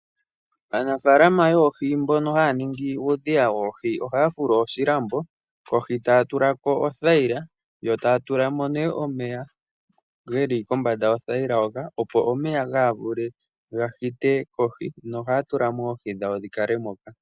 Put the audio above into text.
Aanafaalama yoohi mbono haya ningi uudhiya woohi ohaya fulu oshilambo kohi taya tulako othayila yo taya tulamo nee omeya geli kombanda yothayila hoka opo omeya kaaga hite kohi nohaya tulamo oohi dhawo dhikale moka.